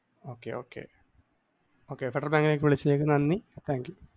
okay okay okay federal ബാങ്കിലേക്ക് വിളിച്ചതിനു നന്ദി thank you